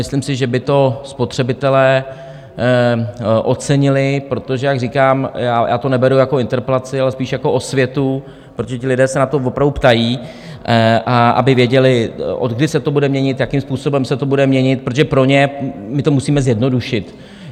Myslím si, že by to spotřebitelé ocenili, protože jak říkám, já to neberu jako interpelaci, ale spíš jako osvětu, protože ti lidé se na to opravdu ptají, aby věděli, odkdy se to bude měnit, jakým způsobem se to bude měnit, protože pro ně my to musíme zjednodušit.